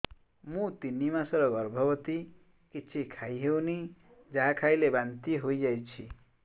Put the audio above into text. ମୁଁ ତିନି ମାସର ଗର୍ଭବତୀ କିଛି ଖାଇ ହେଉନି ଯାହା ଖାଇଲେ ବାନ୍ତି ହୋଇଯାଉଛି